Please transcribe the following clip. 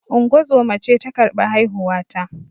Ungozoma ce ta karbi haihuwa ta